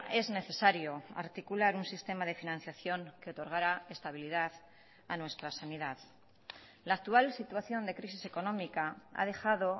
es necesario articular un sistema de financiación que otorgará estabilidad a nuestra sanidad la actual situación de crisis económica ha dejado